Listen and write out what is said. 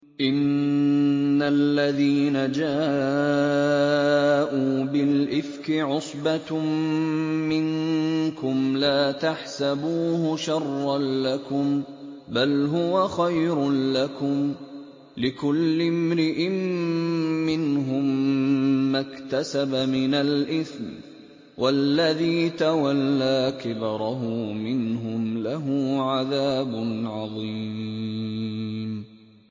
إِنَّ الَّذِينَ جَاءُوا بِالْإِفْكِ عُصْبَةٌ مِّنكُمْ ۚ لَا تَحْسَبُوهُ شَرًّا لَّكُم ۖ بَلْ هُوَ خَيْرٌ لَّكُمْ ۚ لِكُلِّ امْرِئٍ مِّنْهُم مَّا اكْتَسَبَ مِنَ الْإِثْمِ ۚ وَالَّذِي تَوَلَّىٰ كِبْرَهُ مِنْهُمْ لَهُ عَذَابٌ عَظِيمٌ